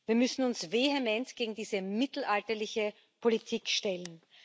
Wir müssen uns vehement gegen diese mittelalterliche Politik stellen.